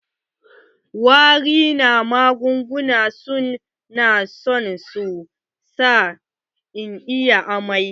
Wari na magunguna su na so su sa inyi amai.